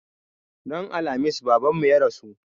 Ran Alhamis Babanmu ya rasu.